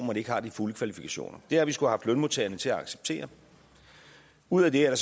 man ikke har de fulde kvalifikationer det har vi skullet lønmodtagerne til at acceptere ud af det er